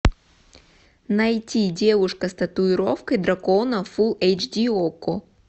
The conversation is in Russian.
найти девушка с татуировкой дракона фулл эйч ди окко